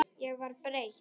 Ég var breytt.